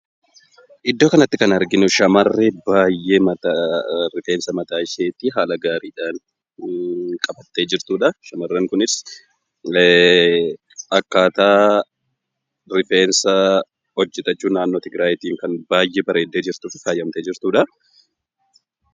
Iddoo kanatti kan arginu, shamarree baayyee rifeensa mataa ishee haala gaariidhaan qabattee jirtudha. Shamarreen kunis akkaataa rifeensa hojjetachuu naannoo Tigraayitiin kan baayyee bareeddee jirtuu fi faayamtee jirtuudha.